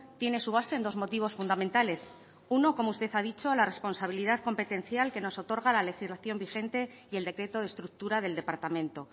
tiene su base en dos motivos fundamentales uno como usted ha dicho la responsabilidad competencial que nos otorga la legislación vigente y el decreto de estructura del departamento